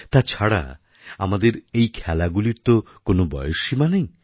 তাছাড়া আমাদের এই খেলাগুলির তো কোনও বয়সসীমা নেই